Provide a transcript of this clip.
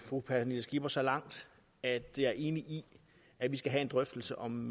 fru pernille skipper så langt at jeg er enig i at vi skal have en drøftelse om